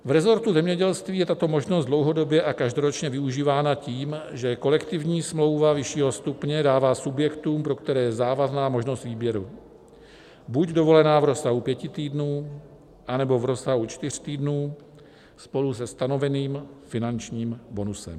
V resortu zemědělství je tato možnost dlouhodobě a každoročně využívána tím, že kolektivní smlouva vyššího stupně dává subjektům, pro které je závazná, možnost výběru - buď dovolená v rozsahu pěti týdnů, anebo v rozsahu čtyř týdnů spolu se stanoveným finančním bonusem.